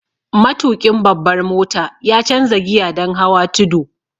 Matuƙin babbar mota ya canza giya don hawa tudu.